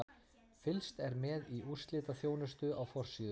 Fylgst er með í úrslitaþjónustu á forsíðu.